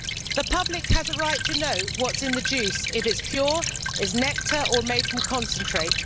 The public has a right to know what is in the juice if it is pure, is nectar or is made from concentrate